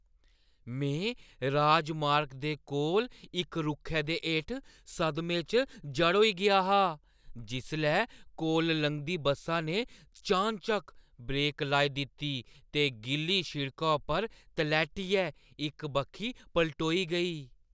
में राजमार्ग दे कोल इक रुक्खै दे हेठ सदमे च जड़ होई गेआ हा जिसलै कोला लंघदी बस्सा ने चानचक्क ब्रेक लाई दित्ती ते गिल्ली सिड़का पर तलैह्‌टियै इक बक्खी पलटोई गेई।